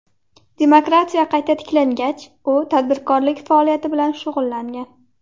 Demokratiya qayta tiklangach, u tadbirkorlik faoliyati bilan shug‘ullangan.